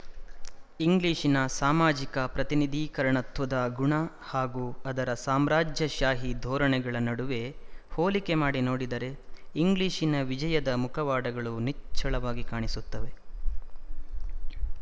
ಇಂಗ್ಲಿಶಿನ ಸಾಮಾಜಿಕ ಪ್ರತಿನಿಧೀಕರಣತ್ವದ ಗುಣ ಹಾಗೂ ಅದರ ಸಾಮ್ರಾಜ್ಯಶಾಹಿ ಧೋರಣೆಗಳ ನಡುವೆ ಹೋಲಿಕೆ ಮಾಡಿ ನೋಡಿದರೆ ಇಂಗ್ಲಿಶಿನ ವಿಜಯದ ಮುಖವಾಡಗಳು ನಿಚ್ಚಳವಾಗಿ ಕಾಣಿಸುತ್ತವೆ